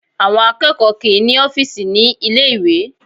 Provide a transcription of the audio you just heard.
Àwọn akẹ́kọ̀ọ́ kì í ní ọ́fíìsì ní ilé ìwé